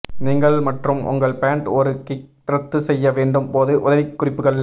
நீங்கள் மற்றும் உங்கள் பேண்ட் ஒரு கிக் ரத்து செய்ய வேண்டும் போது உதவிக்குறிப்புகள்